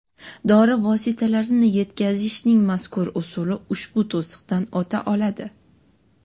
Dori vositalarini yetkazishning mazkur usuli ushbu to‘siqdan o‘ta oladi.